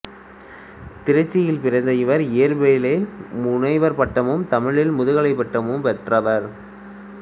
திருச்சியில் பிறந்த இவர் இயற்பியலில் முனைவர் பட்டமும் தமிழில் முதுகலைப் பட்டமும் பெற்றவர்